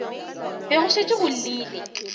be go šetše go llile